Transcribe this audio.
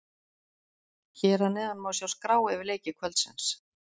Hér að neðan má sjá skrá yfir leiki kvöldsins.